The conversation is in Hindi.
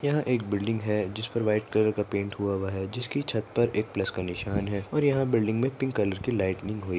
यह एक बिल्डिंग है जिसपर व्हाइट कलर का पैंट हुआ हुआ है जिसके छत पर एक प्लस का निशान है और यहा बिल्डिंग मे पिंक कलर की लाइटनिंग हुई--